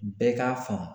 Bɛɛ k'a faamu